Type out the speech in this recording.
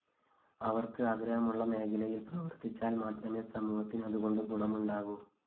അവര്‍ക്ക് ആഗ്രഹമുള്ള മേഖലയില്‍ പ്രവര്‍ത്തിച്ചാല്‍ മാത്രമേ സമൂഹത്തിന് അതുകൊണ്ട് ഗുണമുണ്ടാകൂ